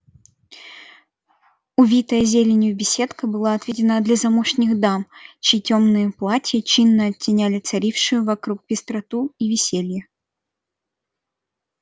увитая зеленью беседка была отведена для замужних дам чьи тёмные платья чинно оттеняли царившую вокруг пестроту и веселье